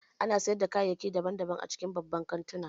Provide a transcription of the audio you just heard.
Ana sayar da kayayyaki daban-daban a cikin babban kantuna